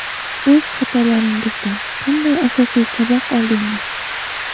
O‘z xatolaringizdan qanday asosiy saboq oldingiz?